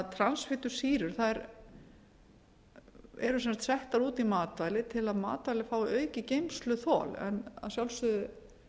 transfitusýrur eru settar út í matvæli til að matvæli fái aukið geymsluþol en að sjálfsögðu